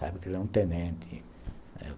Sabe que ele é um tenente, né.